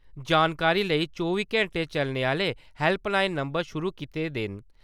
जानकारी लेई चौबी घैंटे चलने आहले हैल्पलाइन नम्बर शुरु कीते दे न ।